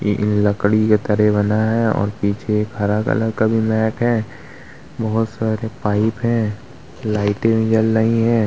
इन लकड़ी के तरे बना है और पीछे एक हरा कलर का भी मैट है बहुत सारे पाइप हैं लाइटें भी जल रही हैं।